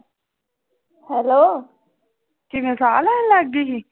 Hello ਕਿਵੇਂ ਸਾਹ ਲੈਣ ਲੱਗ ਗਈ ਸੀ।